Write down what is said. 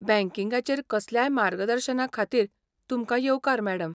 बँकिंगाचेर कसल्याय मार्गदर्शना खातीर तुमकां येवकार, मॅडम.